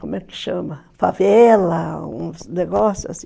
como é que chama, favela, um negócio assim.